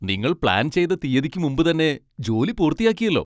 നിങ്ങൾ പ്ലാൻ ചെയ്ത തീയ്യതിക്ക് മുമ്പ് തന്നെ ജോലി പൂർത്തിയാക്കിയല്ലോ.